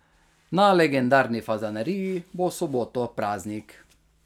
Na legendarni Fazaneriji bo v soboto praznik.